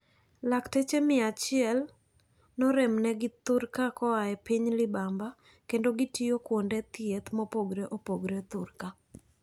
Lakteche mia achiel noromnegi thurka koae piny libamba kendo gitiyo kuonde thieth mopogre opogre thurka.